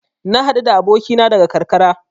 Na haɗu da abokina daga karkara.